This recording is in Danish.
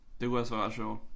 Det kunne også være ret sjovt